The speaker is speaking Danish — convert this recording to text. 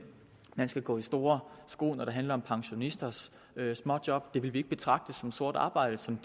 man skal gå i store sko når det handler om pensionisters småjob det vil vi ikke betragte som sort arbejde som